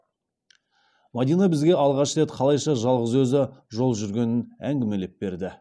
мадина бізге алғаш рет қалайша жалғыз өзі жол жүргенін әңгімелеп берді